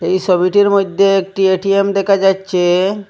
এই সবিটির মইধ্যে একটি এ_টি_এম দেখা যাইচ্ছে।